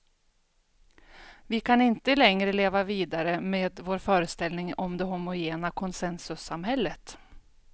Vi kan inte längre leva vidare med vår föreställning om det homogena konsensussamhället.